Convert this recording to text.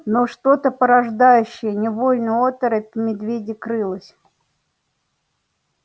но что-то порождающее невольную оторопь в медведе крылось